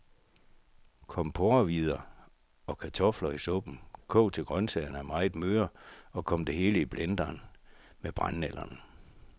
Kom porrehvider og kartofler i suppen, kog til grøntsagerne er meget møre, og kom det hele i blenderen med brændenælderne.